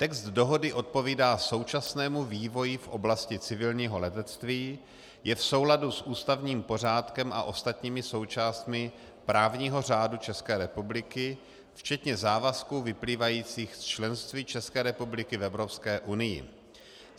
Text dohody odpovídá současnému vývoji v oblasti civilního letectví, je v souladu s ústavním pořádkem a ostatními součástmi právního řádu České republiky, včetně závazků vyplývajících z členství České republiky v Evropské unii.